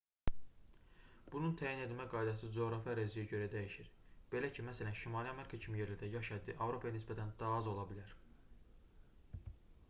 bunun təyin edilmə qaydası coğrafi əraziyə görə dəyişir belə ki məsələn şimali amerika kimi yerlərdə yaş həddi avropaya nisbətən daha az ola bilər